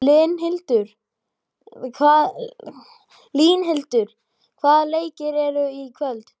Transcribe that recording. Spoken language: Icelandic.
Línhildur, hvaða leikir eru í kvöld?